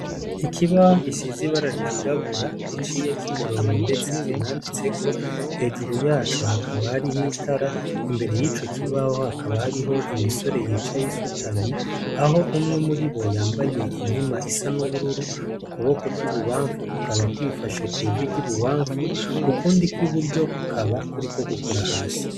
Ikibaho gishizibara ryirabura giciye ko'imirongo, ndetse kinanditseko hejuru yacu hakaba hari h itara imbere y'ico kibaho hakaba hariho imisore yicayo isutamye aho umwe muri bo yambaye inkima isa n'ubururu ukuboko kw'i bubamfu kukaba kwifashe kw'iviry'ibubamfu ukundio iburyo kukaba kuri ko gukora hasi.